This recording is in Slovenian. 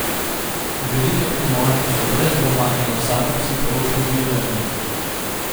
Velika tekmovanja so brez dvoma eno samo psihološko bildanje.